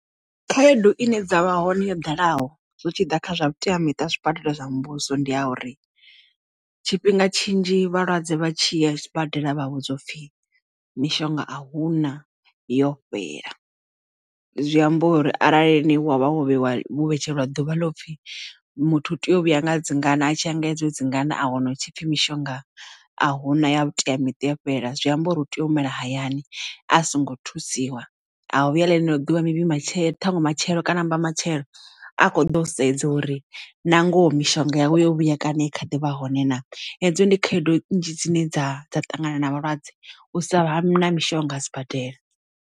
Khaedu ine dza vha hone yo ḓalaho zwi tshiḓa kha zwa vhuteamiṱa zwibadela zwa muvhuso ndi a uri tshifhinga tshinzhi vhalwadze vha tshi ya sibadela vha vhudzwa upfhi mishonga a huna yo fhela. Zwi amba uri arali ni wa vha wo vheiwa vhetshelwa ḓuvha ḽo upfhi muthu u tea u vhuya nga dzingana a tshi ya nga hedzo dzingana a wana hu tshipfi mishonga a huna ya vhuteamiṱa yo fhela zwi amba uri u tea u humela hayani a songo thusiwa a vhu ya ḽeḽo ḓuvha maybe matshelo ṱhaṅwe matshelo kana mbatshelo a kho ḓo sedza uri na ngoho mishonga yavho yo vhuya kaṋe kha ḓivha hone na hedzo ndi khaedo nzhi dzine dza dza ṱangana na vhalwadze u sa vha na mishonga a sibadela.